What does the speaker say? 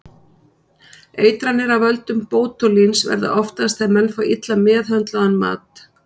Eitranir af völdum bótúlíns verða oftast þegar menn fá illa meðhöndlaðan mat.